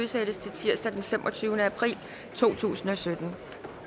udsættes til tirsdag den femogtyvende april to tusind og sytten